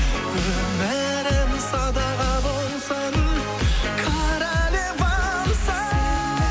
өмірім садаға болсын королевамсың